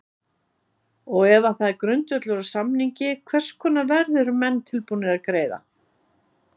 Og ef það er grundvöllur á samningi hvers konar verð eru menn tilbúnir að greiða?